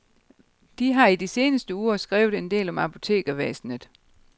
De har i de seneste uger skrevet en del om apotekervæsenet.